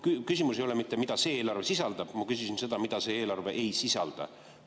Küsimus ei ole mitte, mida see eelarve sisaldab, ma küsisin seda, mida see eelarve ei sisalda.